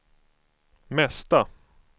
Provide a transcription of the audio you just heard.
mesta